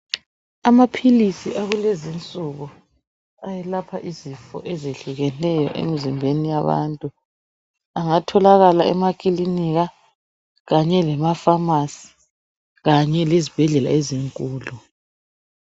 Amaphilisi akulezinsuku ayelapha izifo ezehlukeneyo emzimbeni yabantu angatholakala emakilinika, kanye emafamasi kanye lezibhedlela ezinkulu.